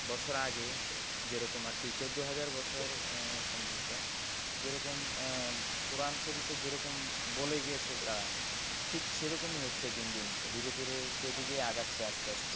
বছর আগে যেরকম আরকি চোদ্দ হাজার বছর সম্ভবত যেরকম কোরআন শরীফে যেরকম বলে গিয়েছে তারা। ঠিক সেরকমই হচ্ছে দিন দিন ধীরে ধীরে সেদিকেই আগাচ্ছে আস্তে আস্তে।